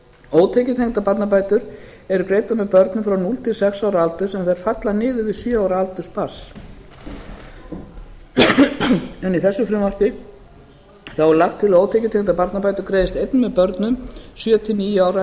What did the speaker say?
ótekjutengdar barnabætur eru greiddar með börnum frá núll til sex ára aldurs en þær falla niður við sjö ára aldur barns en í þessu frumvarpi er lagt til að ótekjutengdar barnabætur greiðist einnig með börnum sjö til níu ára